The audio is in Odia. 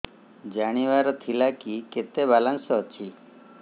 ଜାଣିବାର ଥିଲା କି କେତେ ବାଲାନ୍ସ ଅଛି